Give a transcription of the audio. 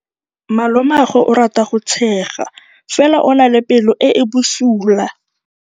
Malomagwe o rata go tshega fela o na le pelo e e bosula.